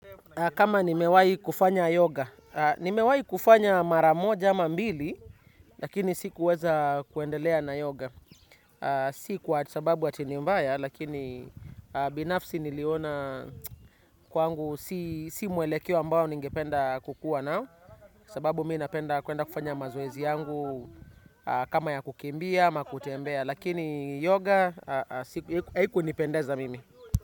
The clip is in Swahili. Kama nimewai kufanya yoga, nimewai kufanya mara moja ama mbili, lakini sikuweza kuendelea na yoga. Si kwa sababu ati ni mbaya, lakini binafsi niliona kwangu si mwelekeo ambao ningependa kukuwa nao. Sababu mimi napenda kuenda kufanya mazoezi yangu kama ya kukimbia ama kutembea, lakini yoga, haikunipendeza mimi.